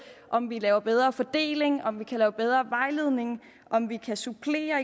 om vi laver en bedre fordeling om vi kan lave en bedre vejledning om vi kan supplere